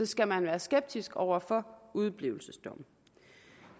skal man være skeptisk over for udeblivelsesdomme